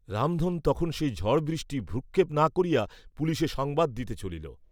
রামধন তখন সেই ঝড়বৃষ্টি ভ্রুক্ষেপ না করিয়া পুলিসে সংবাদ দিতে চলিল।